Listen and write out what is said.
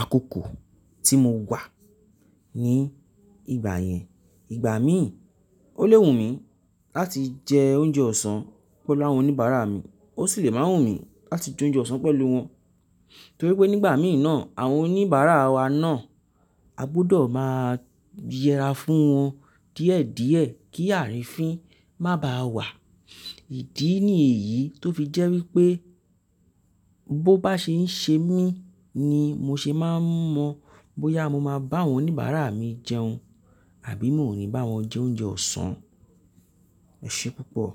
àkókò tí mo wà ní ìgbà yẹn. Ìgbà mí ò le wùn mí láti jẹ oúnjẹ ọ̀sán pẹ̀lú àwọn oníbàárà mi, ó sì le máa wùn mí láti jẹ oúnjẹ ọ̀sán pẹ̀lú wọn. Torípé nígbà mí náà, àwọn oníbàárà wa náà a gbudọ̀ máa yẹra fún wọn díẹ̀ díẹ̀ kí ààrín fín má ba à wà. Ìdí ni èyí tó fi jẹ́ wípé bó bá ṣe ń ṣe mí ni mo ṣe máa n mọ bóyá mo máa bá àwọn oníbàárà mi jẹun àbí mi ò ní bá wọn jẹ oúnjẹ ọ̀sán. Eṣẹ́ púpọ̀